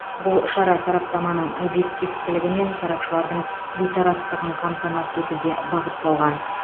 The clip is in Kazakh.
бұл шара сараптаманың объективтілігі мен сарапшылардың бейтараптығын қамтамасыз етуге бағытталған